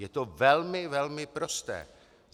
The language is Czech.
Je to velmi velmi prosté.